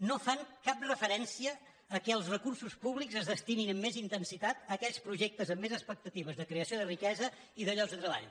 no fan cap referència al fet que els recursos públics es destinin amb més intensitat a aquells projectes amb més expectatives de creació de riquesa i de llocs de treball